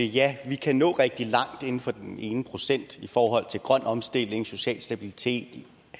ja vi kan nå rigtig langt inden for den ene procent i forhold til grøn omstilling social stabilitet